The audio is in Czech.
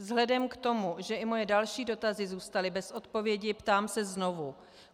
Vzhledem k tomu, že i moje další dotazy zůstaly bez odpovědi, ptám se znovu.